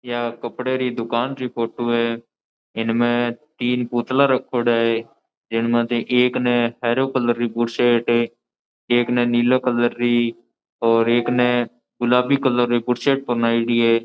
यह कपडे री दुकान री फोटो है इनमे तीन पुतला रखोड़ा है इनमे से एक ने हरो कलर री बुशेट एक ने नीलो कलर री और एक ने गुलाबी कलर री बुशेट पहनाइडी है।